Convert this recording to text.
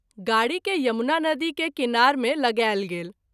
गाड़ी के यमुना नदी के किनार मे लगाएल गेल।